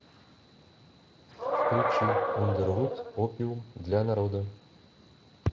включи ундервуд опиум для народа